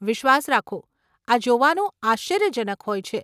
વિશ્વાસ રાખો, આ જોવાનું આશ્ચર્યજનક હોય છે.